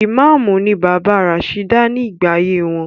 Ìmáàmù ni bàbá Rasheeda ní gbà ayé wọn.